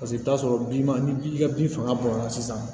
Paseke i bɛ taa sɔrɔ bi ma ni ji ka bin fanga bonya na sisan